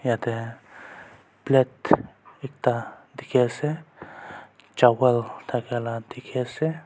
yate plate ekta dikhi ase chawal thaka la dikhi ase.